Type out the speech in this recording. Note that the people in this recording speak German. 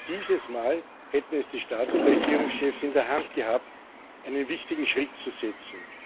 Dieses Mal hätten es die Staats und Regierungschefs in der Hand gehabt, einen wichtigen Schritt zu setzen.